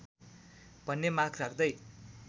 भन्ने माग राख्दै